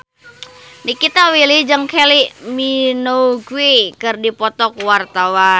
Nikita Willy jeung Kylie Minogue keur dipoto ku wartawan